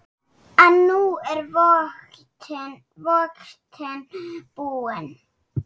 En nú er vodkinn búinn.